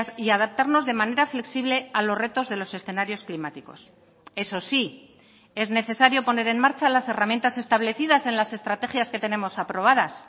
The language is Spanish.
y adaptarnos de manera flexible a los retos de los escenarios climáticos eso sí es necesario poner en marcha las herramientas establecidas en las estrategias que tenemos aprobadas